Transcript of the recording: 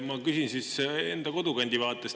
Ma küsin siis enda kodukandi vaatest.